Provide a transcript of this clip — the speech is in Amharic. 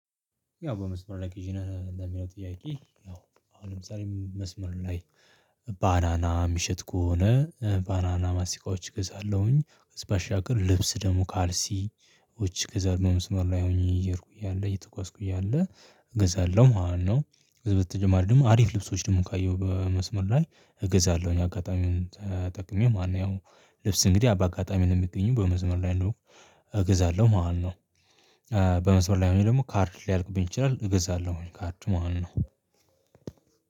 ያው በመስመር ላይ ቅዢ ነህ ለሚለው ጥያቄ? ያው አሁንም ለምሳሌ መስመር ላይ ባናና የሚሸጥ ከሆነ ባናና ማስቲካዎችዎች እገዛለሁኝ በሻገር ልብስ ደግሞ ካልሲዎች እገዛለው መስመር ላይ ሆኜ እየድኩኝ እያለ እየተጓዝኩኝ እያለ እገዛለሁ ማለት ነው። ከዚ በተጨማሪ ደግሞ አሪፍ ልብሶች ደግሞ ካየሁ በመስመር ላይ እገዛለሁ ያው አጋጣሚውን ተጠቅሜው ማለት ነው። ያው ልብስ እንግዲህ ባጋጣሚ ነው የሚገኘው በመስመር ያለው እገዛለሁ ማለት ነው። በመስመር ላይ ሆኜ ደግሞ ካርድ ሊያልቅብኝ ይችላል እገዛለሁ ካርድ ማለት ነው።